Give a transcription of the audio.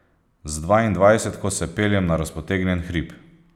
Z dvaindvajsetko se peljem na razpotegnjen hrib.